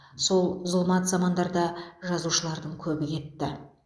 сол зұлмат замандарда жазушылардың көбі кетті